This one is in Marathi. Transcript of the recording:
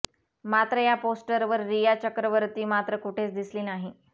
मात्र या पोस्टर्सवर रिया चक्रवर्ती मात्र कुठेच दिसली नाही